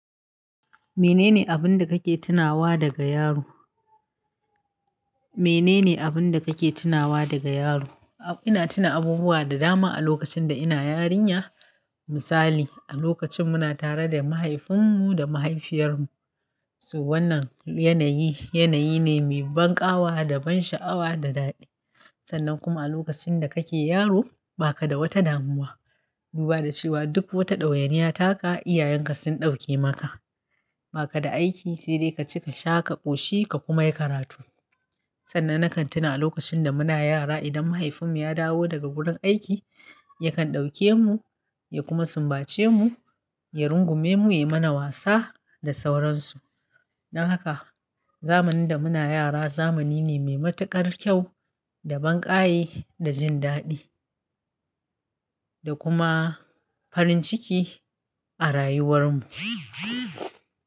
Menene abun da kake tunawa daga yaro? Menene abun da kake tunawa daga yaro? Ina tuna abubuwa da dama a lokacin da ina yarinya. Misali, a lokacin muna tare da mahaifinmu da mahaifiyarmu. So wannan yanayi, yanayi ne mai banƙawa da ban sha'awa da daɗi. Sannan kuma a lokacin da kake yaro baka da wata damuwa. Duba da cewa duk wata ɗawainiya taka, iyayenka sun ɗauke maka. Baka da aiki, sai dai ka ci, ka sha, ka ƙoshi ka kuma yi karatu. Sannan na kan tuna a lokacin da muna yara idan mahaifinmu ya dawo daga gurin aiki, yakan ɗauke mu, ya kuma sumbace mu, ya rungume mu, yai mana wasa, da sauransu. Dan haka, zamanin da muna yara zamani ne mai matuƙar kyau, da banƙaye, da jin daɗi. Da kuma farin ciki a rayuwar mu.